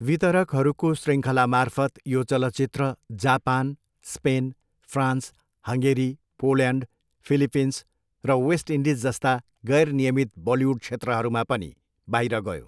वितरकहरूको शृङ्खलामार्फत यो चलचित्र Japan, Spain, France, Hungary, Poland, Philippines र वेस्ट इन्डिज जस्ता गैर नियमित बलिउड क्षेत्रहरूमा पनि बाहिर गयो।